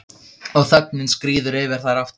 Og þögnin skríður yfir þær aftur.